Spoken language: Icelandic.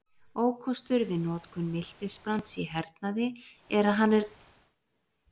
Ókostur við notkun miltisbrands í hernaði er að hann mengar jarðveg.